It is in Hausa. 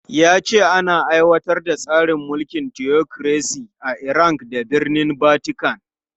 Ya ce ana aiwatar da tsarin mulkin tiyokiresi a Iran da birnin Vatican.